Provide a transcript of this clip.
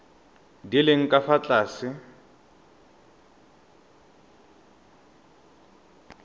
di leng ka fa tlase